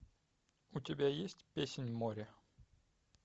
у тебя есть песнь моря